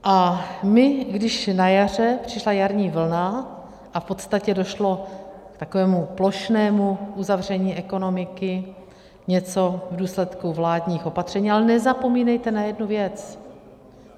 A my, když na jaře přišla jarní vlna a v podstatě došlo k takovému plošnému uzavření ekonomiky, něco v důsledku vládních opatření - ale nezapomínejte na jednu věc.